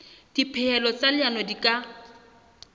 dipehelo tsa leano di ka